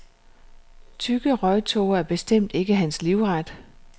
Tykke røgtåger er bestemt ikke hans livret.